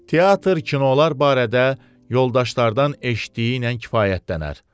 Teatr, kinolar barədə yoldaşlardan eşitdiyiylə kifayətlənər.